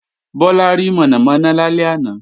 Bọ́lá rí mọ̀nàmọ̀nà lálẹ́ àná